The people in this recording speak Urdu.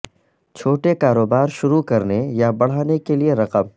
چھوٹے کاروبار شروع کرنے یا بڑھانے کے لئے رقم